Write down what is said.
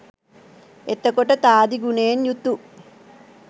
එතකොට තාදී ගුණයෙන් යුතු